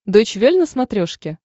дойч вель на смотрешке